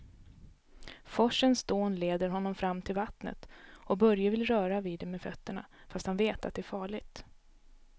Forsens dån leder honom fram till vattnet och Börje vill röra vid det med fötterna, fast han vet att det är farligt.